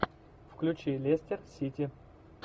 включи лестер сити